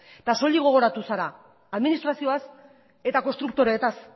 soilik gogoratu zara administrazioaz eta konstruktoretaz